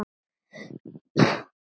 Hann skelfur eins og hrísla.